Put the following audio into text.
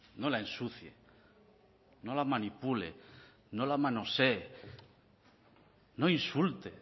no la ensucie no la manipule no la manosee no insulte